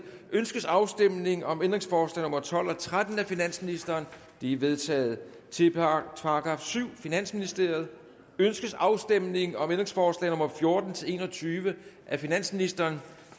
ønskes afstemning om ændringsforslag nummer tolv og tretten af finansministeren de er vedtaget til § syvende finansministeriet ønskes afstemning om ændringsforslag nummer fjorten til en og tyve af finansministeren